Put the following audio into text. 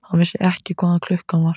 Hann vissi ekki hvað klukkan var.